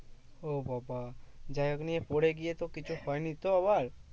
ও বাবা যাইহোক নিয়ে পরে গিয়ে তো কিছু হয়তো আবার?